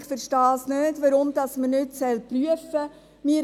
Denn ich verstehe nicht, warum man dies nicht prüfen soll.